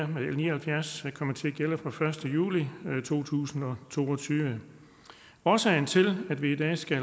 med l ni og halvfjerds her komme til at gælde fra den første juli to tusind og to og tyve årsagen til at vi i dag skal